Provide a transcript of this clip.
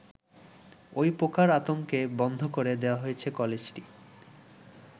ওই পোকার আতঙ্কে বন্ধ করে দেওয়া হয়েছে কলেজটি।